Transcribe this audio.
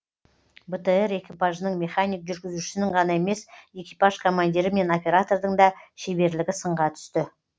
бтр экипажының механик жүргізушісінің ғана емес экипаж командирі мен оператордың да шеберлігі сынға түсті